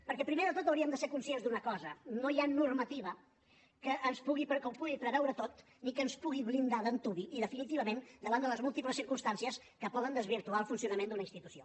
perquè primer de tot hauríem de ser conscients d’una cosa no hi ha normativa que ho pugui preveure tot ni que ens pugui blindar d’antuvi i definitivament davant de les múltiples circumstàncies que poden desvirtuar el funcionament d’una institució